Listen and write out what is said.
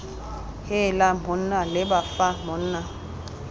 heela monna leba fa monna